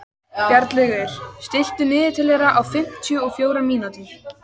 Bjarnlaugur, stilltu niðurteljara á fimmtíu og fjórar mínútur.